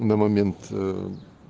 на момент э